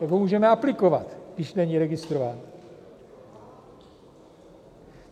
Jak ho můžeme aplikovat, když není registrován?